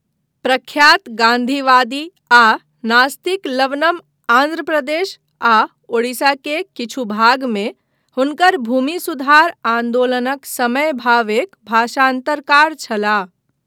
प्रख्यात गान्धीवादी आ नास्तिक लवनम आन्ध्र प्रदेश आ उड़ीसा के किछु भागमे हुनकर भूमि सुधार आन्दोलनक समय भावेक भाषान्तरकार छलाह।